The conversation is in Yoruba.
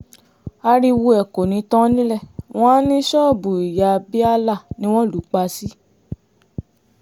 ariwo ẹ̀ kò ní tán nílé wọn àá ní ṣọ́ọ̀bù ìyá bíálà ni wọ́n lù ú pa sí